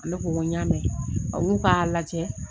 Ne ko ko n y'a mɛn olu k'a lajɛ